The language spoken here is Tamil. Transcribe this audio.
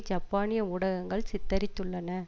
ஜப்பானிய ஊடகங்கள் சித்தரித்துள்ளன